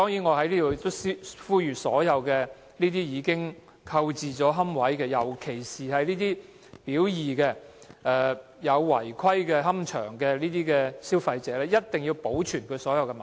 我在此呼籲所有已經購置龕位，尤其是"表二"列出的違規龕場龕位的消費者，一定要保存所有文件。